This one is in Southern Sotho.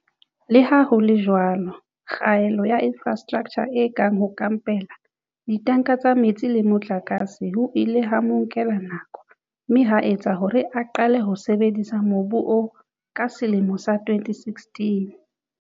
Leha ho le jwalo, kgaello ya infrastraktjha e kang ho kampela, ditanka tsa metsi le motlakase ho ile ha mo nkela nako mme ha etsa hore a qale ho sebedisa mobu oo ka selemo sa 2016.